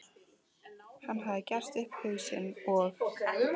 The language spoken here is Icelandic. Hann hafði gert upp hug sinn og